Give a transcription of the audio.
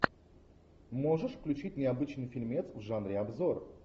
можешь включить необычный фильмец в жанре обзор